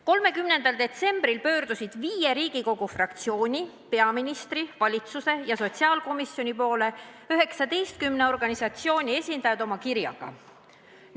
30. detsembril pöördusid viie Riigikogu fraktsiooni, peaministri, valitsuse ja sotsiaalkomisjoni poole 19 organisatsiooni esindajad oma kirjaga.